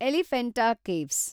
Elephanta caves